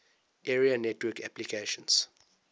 area network applications